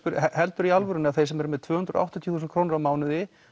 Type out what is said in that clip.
helduru í alvörunni að þeir sem eru með tvö hundruð og áttatíu þúsund krónur á mánuði